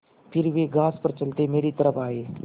फिर वे घास पर चलते मेरी तरफ़ आये